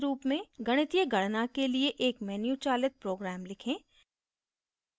गणितीय गणना के लिए एक मेनू चालित प्रोग्राम लिखें